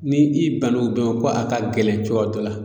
Ni i bann'o bɛɛ ma ko a ka gɛlɛn cogoya dɔ la